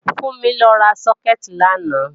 Fúnmi lọ ra sókẹ̀tì làná